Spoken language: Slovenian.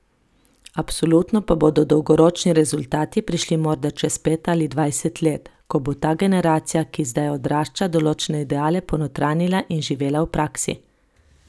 Absolutno pa bodo dolgoročni rezultati prišli morda čez pet ali dvajset let, ko bo ta generacija, ki zdaj odrašča, določene ideale ponotranjila in jih živela v praksi.